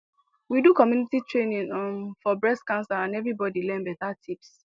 we do community training um for breast cancer and everybody learn better tips